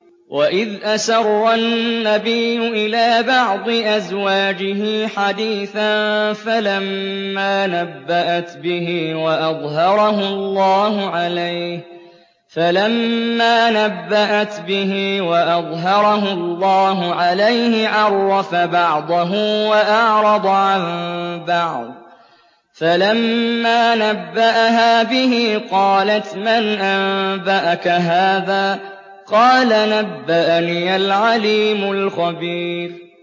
وَإِذْ أَسَرَّ النَّبِيُّ إِلَىٰ بَعْضِ أَزْوَاجِهِ حَدِيثًا فَلَمَّا نَبَّأَتْ بِهِ وَأَظْهَرَهُ اللَّهُ عَلَيْهِ عَرَّفَ بَعْضَهُ وَأَعْرَضَ عَن بَعْضٍ ۖ فَلَمَّا نَبَّأَهَا بِهِ قَالَتْ مَنْ أَنبَأَكَ هَٰذَا ۖ قَالَ نَبَّأَنِيَ الْعَلِيمُ الْخَبِيرُ